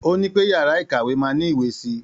Ó ní pé yàrá ìkàwé máa ní ìwé si.